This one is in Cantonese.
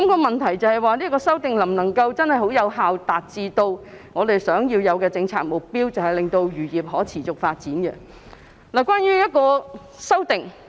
問題是，有關修訂能否有效達致我們希望達到的政策目標，令漁業可持續發展呢？